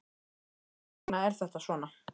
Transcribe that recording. En hvers vegna er þetta svona?